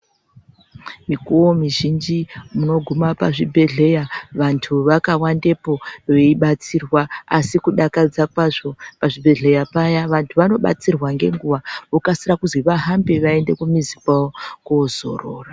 Mikuvo mizhinji munoguma pazvibhedhlera vantu vakawandepo veibatsirwa. Asi kudakadza kwazvo pazvibhedhleya paya vantu vanobatsirwa ngenguva vokasira kuzi vahambe vaende kumizi kwavo kozorora.